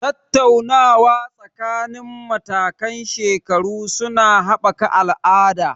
Tattaunawa tsakanin matakan shekaru su na haɓaka al'ada.